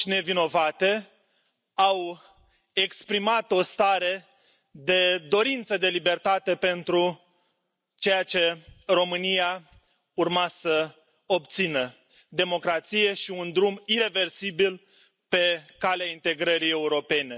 voci nevinovate au exprimat o stare de dorință de libertate pentru ceea ce România urma să obțină democrație și un drum ireversibil pe calea integrării europene.